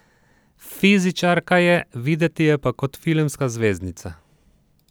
Fizičarka je, videti je pa kot filmska zvezdnica.